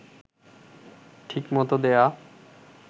ঠিকমত দেয়া